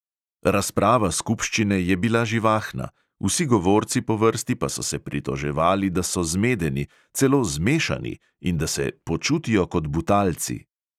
Razprava skupščine je bila živahna, vsi govorci po vrsti pa so se pritoževali, da so "zmedeni", celo "zmešani" in da se "počutijo kot butalci".